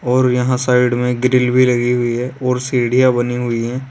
और यहां साइड में ग्रिल भी लगी हुई है और सीढ़ियां बनी हुई है।